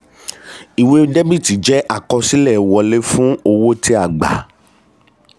ìwé debit jẹ́ àkọsílẹ̀ wọlé fún owó tí a gba.